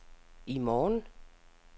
i morgen